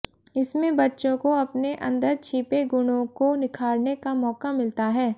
इसमें बच्चों को अपने अंदर छिपे गुणों को निखारने का मौका मिलता है